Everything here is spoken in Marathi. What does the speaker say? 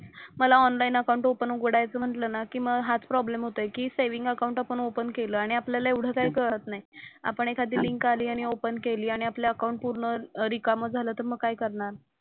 मला ऑनलाईन अकाउंट ओपन उघडायचं म्हंटलं ना की मग हाच प्रॉब्लेम होतोय की सेव्हिन्ग अकाउंट आपण ओपन केलं आणि आपल्याला एवढं काही कळत नाही. आपण एखादी लिंक आली आणि ओपन केली आणि आपलं अकाउंट पूर्ण रिकामं झालं तर मग काय करणार.